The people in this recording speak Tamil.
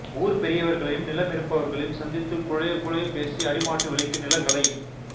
ஊர்ப் பெரியவர்களையும் நிலமிருப்பவர்களையும் சந்தித்து குழையக் குழையப் பேசி அடிமாட்டு விலைக்கு நிலங்களை